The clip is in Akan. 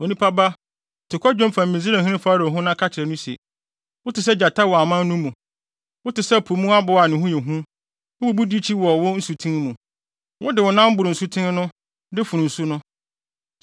“Onipa ba, to kwadwom fa Misraimhene Farao ho na ka kyerɛ no se: “ ‘Wote sɛ gyata wɔ aman no mu: wote sɛ po mu aboa a ne ho yɛ hu wububu dikyi wɔ wo nsuten mu, wode wo nan boro nsuten no de fono nsu no.